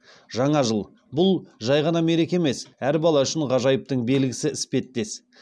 жаңа жыл бұл жай ғана мереке емес әр бала үшін ғажайыптың белгісі іспеттес